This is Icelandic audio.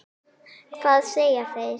Hvað segja þeir?